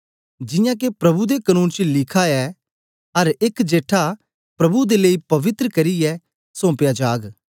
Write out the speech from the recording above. जियां के प्रभु दे कनून च लिखा ऐ अर एक जेठा प्रभु दे लेई पवित्र करियै सौम्पया जाग